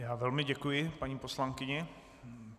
Já velmi děkuji paní poslankyni.